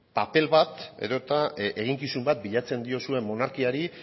paper bat edota eginkizun bat bilatzen diozue monarkiari